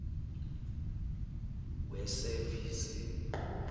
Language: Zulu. wesevisi